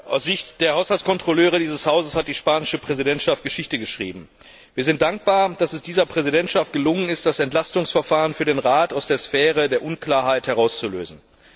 Aus Sicht der Haushaltskontrolleure dieses Hauses hat die spanische Präsidentschaft Geschichte geschrieben. Wir sind dankbar, dass es dieser Präsidentschaft gelungen ist, das Entlastungsverfahren für den Rat aus der Sphäre der Unklarheit herauszulösen.